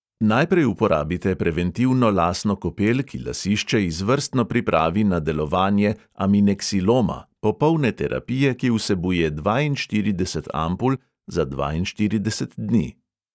Najprej uporabite preventivno lasno kopel, ki lasišče izvrstno pripravi na delovanje amineksiloma, popolne terapije, ki vsebuje dvainštirideset ampul za dvainštirideset dni.